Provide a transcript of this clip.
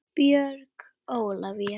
Björg Ólavía.